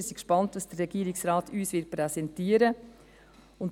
Wir sind gespannt, was der Regierungsrat uns präsentieren wird.